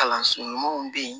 Kalanso ɲumanw bɛ yen